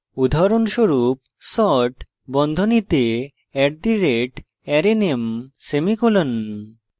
উদাহরনস্বরূপ sort বন্ধনীতে @arrayname semicolon